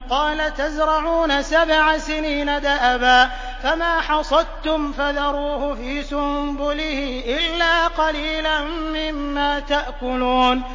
قَالَ تَزْرَعُونَ سَبْعَ سِنِينَ دَأَبًا فَمَا حَصَدتُّمْ فَذَرُوهُ فِي سُنبُلِهِ إِلَّا قَلِيلًا مِّمَّا تَأْكُلُونَ